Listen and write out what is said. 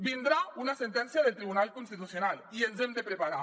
vindrà una sentència del tribunal constitucional i ens hem de preparar